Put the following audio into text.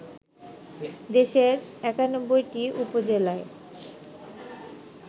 দেশের ৯১টি উপজেলায়